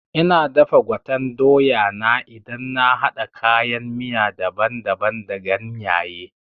Ina dafa gwaten doya na idan na haɗa kayan miya daban daban da ganyaye